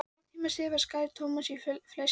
Hálftíma síðar skaraði Thomas í fleski á pönnu.